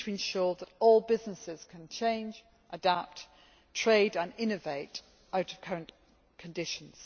We need to ensure that all businesses can change, adapt, trade and innovate out of current conditions.